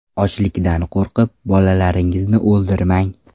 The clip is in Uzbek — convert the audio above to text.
Ochlikdan qo‘rqib, bolalaringizni o‘ldirmang.